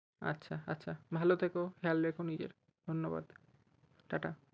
আচ্ছা আচ্ছা ভাল থেকো খেয়াল রেখো নিজের, ধন্যবাদ। টা টা।